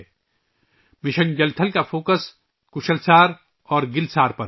'' mission Jal Thal'' کا focus '' Kushal Saar '' اور '' گل سار '' پر ہے